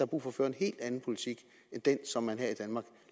brug for at føre en helt anden politik end den som man her i danmark